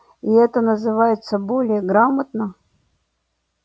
и это называется более грамотно